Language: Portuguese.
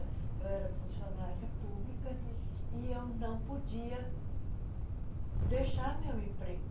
Eu era funcionária pública e eu não podia deixar meu emprego.